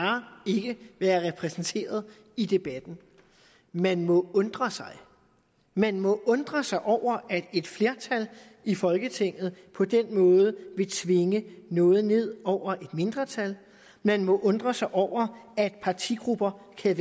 ikke være repræsenteret i debatten man må undre sig man må undre sig over at et flertal i folketinget på den måde vil tvinge noget ned over et mindretal man må undre sig over at partigrupper kan